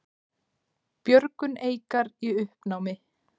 Björgun Eikar í uppnámi